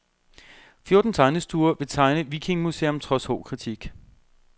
Fjorten tegnestuer vil tegne vikingemuseum trods hård kritik.